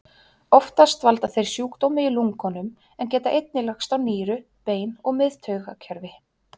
Oftast valda þeir sjúkdómi í lungunum en geta einnig lagst á nýru, bein og miðtaugakerfi.